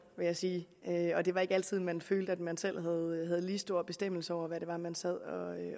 vil jeg sige og det var ikke altid man følte at man selv havde lige stor bestemmelse over hvad det var man sad og